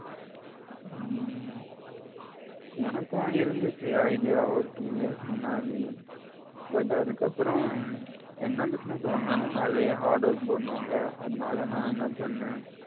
உம் எனக்கும் இருந்த்திச்சி idea ஒரு two years முன்னாடி but அதுக்கப்புறம் என்ன business பண்ணினாலும் அதுலே hard work போடனும்ல அதனால நான் என்ன பண்ண